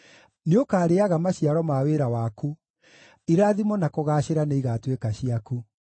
Nĩũkarĩĩaga maciaro ma wĩra waku; irathimo na kũgaacĩra nĩigatuĩka ciaku.